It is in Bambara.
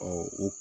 o